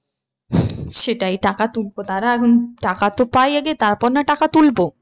সেটাই টাকা তুলবো। দাঁড়া এখন টাকা তো পাই আগে তারপর না টাকা তুলবো।